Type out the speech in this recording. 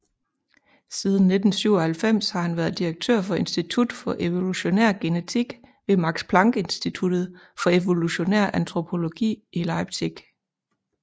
Siden 1997 har han været direktør for Institut for Evolutionær Genetik ved Max Planck Instituttet for Evolutionær Antropologi i Leipzig